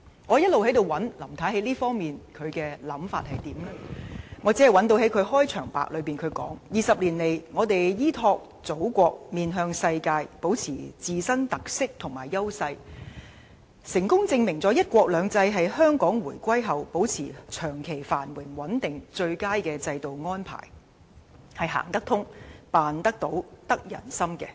我試圖在施政報告中尋找林太在這方面的想法，但只能找到她在前言說 ："20 年來，香港依託祖國、面向世界，保持自身特色和優勢，成功證明了'一國兩制'是香港回歸後保持長期繁榮穩定的最佳制度安排，是'行得通、辦得到、得人心'的。